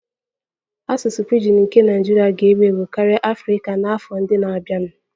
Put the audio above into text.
Asụsụ pidgin nke Naijiria ga-ewu ewu karịa Afrika n'afọ ndị na-abịanụ